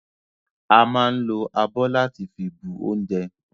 A ma ń lo abọ́ láti fi bu oúnjẹ